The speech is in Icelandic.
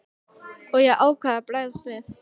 Og ég ákvað að bregðast við.